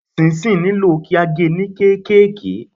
Ṣinṣin nílò kí a ge ní kéékèèké.